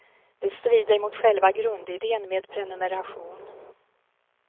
Det strider mot själva grundiden med prenumeration.